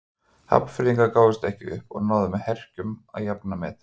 Hafnfirðingar gáfust ekki upp og náðu með herkjum að jafna metin.